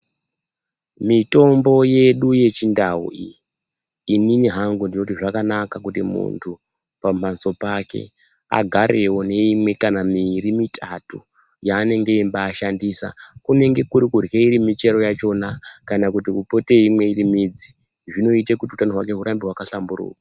mitombo yedu yechindau iyi imimi hangu ndinoti zvakanaka kuti muntu pamhatso pake agarevo neimwe kana mviri kana mitatu yaanengemba shandisa. Kunenge kuri kurya iri michero yachona kuti upote veimwa iri midzi zvinoita kuti utano hwake hurambe hakahlamburuka.